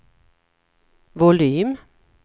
volym